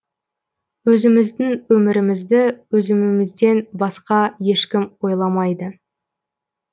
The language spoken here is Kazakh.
өзіміздің өмірімізді өзімімізден басқа ешкім ойламайды